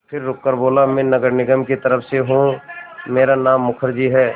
फिर रुककर बोला मैं नगर निगम की तरफ़ से हूँ मेरा नाम मुखर्जी है